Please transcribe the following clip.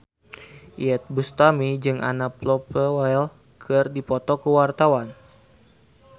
Iyeth Bustami jeung Anna Popplewell keur dipoto ku wartawan